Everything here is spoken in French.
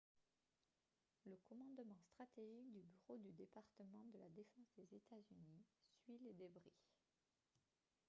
le commandement stratégique du bureau du département de la défense des états-unis suit les débris